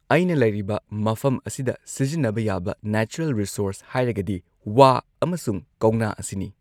ꯑꯩꯅ ꯂꯩꯔꯤꯕ ꯃꯐꯝ ꯑꯁꯤꯗ ꯁꯤꯖꯤꯟꯅꯕ ꯌꯥꯕ ꯅꯦꯆꯔꯦꯜ ꯔꯤꯁꯣꯔꯁ ꯍꯥꯏꯔꯒꯗꯤ ꯋꯥ ꯑꯃꯁꯨꯡ ꯀꯧꯅꯥ ꯑꯁꯤꯅꯤ꯫